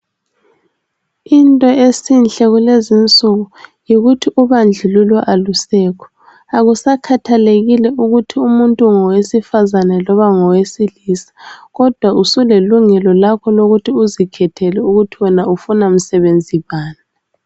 Into esihle kulezi insuku yikuthi ubandlululo alusekho akusakhathekile ukuthi ungumuntu wesifazana loba ngosilisa kodwa usulelungelo lakho lokuthi uzikhethele ukuthi wena ufuna msebenzi bani.